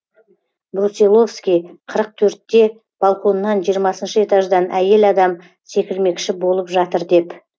брусиловский қырық төртте балконнан жиырмасыншы этаждан әйел адам секірмекші болып жатыр деп